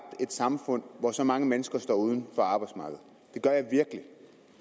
et samfund hvor så mange mennesker står uden for arbejdsmarkedet